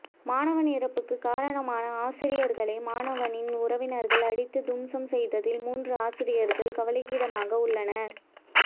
மாணவன் இறப்புக்கு காரணமான ஆசிரியர்களை மாணவனின் உறவினர்கள் அடித்து தும்சம் செய்ததில் முன்று ஆசிரியர்கள் கவலைக்கிடமாக உள்ளனர்